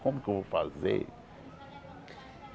Como que eu vou fazer?